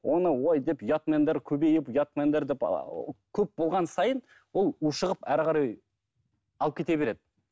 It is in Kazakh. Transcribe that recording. оны ой деп ұятмендер көбейіп ұятмендер деп ы көп болған сайын ол ушығып әрі қарай алып кете береді